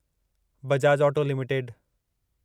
Bajaj auto limited